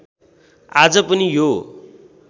आज पनि यो